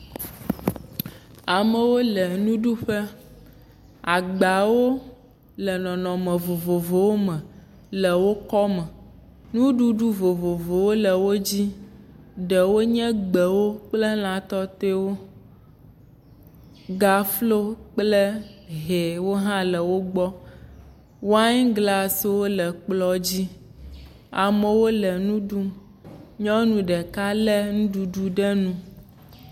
Amewo le nuɖuƒe. Agbawo le nɔnɔme vovovowo me le wo kɔme. Nuɖuɖu vovovowo le wo dzi. Ɖewo nye gbewo kple lã tɔtɔewo. Gaflo kple hɛwo hã le wogbɔ. Wine glasiwo le kplɔ̃ dzi. Amewo le nu ɖum. Nyɔnu ɖeka le nuɖuɖu ɖe nu.